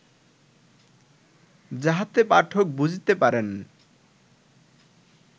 যাহাতে পাঠক বুঝিতে পারেন